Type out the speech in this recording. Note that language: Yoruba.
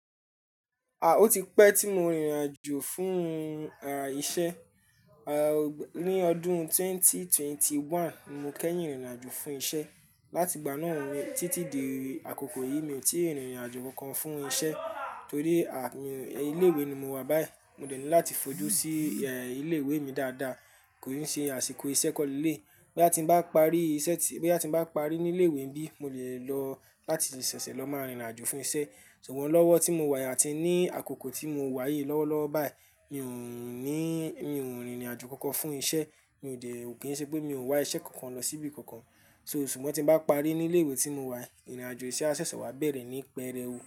À, ó ti pẹ́ tí mo rìnrìn àjò fún, à, iṣẹ́. À, ní ọdún ẹgbẹ̀rún méjì ó lé mọ́kànlélógún mo kẹ́yìn rìnrìn àjò fún iṣẹ́. Látì gbà náà títí di àkókò yìí mi tí rìnrìn àjò kan fún iṣẹ́ torí, à, ilé ìwé ni mo wà báyìí. Mo dènì láti fojú sí, ẹ, ilé ìwé mi dáadáa, kó n ṣe àsìkò iṣẹ́ kọ́leleyi Boya ti ń bá parí iṣẹ́ ti-- bí a ti ń bá parí ní ilé ìwé níbí, mo lè lọ láti ṣẹ̀ṣẹ̀ lọ máa rìnrìn àjò fún iṣẹ́. Ṣùgbọ́n lọ́wọ́ tí mo wà àti ní àkókò tí mo wà yìí lọ́wọ́lọ́wọ́ báyìí, mi ò ní, mi ò rìnrìn àjò kankan fún iṣẹ́. Mi ò dè, ò kí ń ṣe pé mi ò wá iṣẹ́ kankan lọ síbí kankan. So ṣùgbọ́n tí n bá parí ní ilé ìwé tí mo wà, irìn àjò iṣẹ́ á ṣẹ̀ṣẹ̀ wá bẹ̀rẹ̀ ní pẹrẹu.